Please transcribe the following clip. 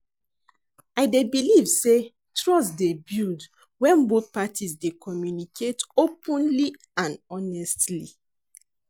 I dey believe say trust dey build when both parties dey communicate openly and honestly.